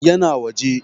Ya na waje.